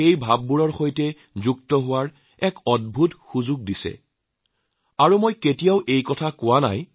এই লোকসকলৰ সৈতে জড়িত হবলৈ মোক এক সূযোগ প্ৰদান কৰিছে ইয়াত মই কেতিয়াও মোৰ মনৰ কথা কোৱা নাই